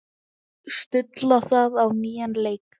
Stulla það á nýjan leik.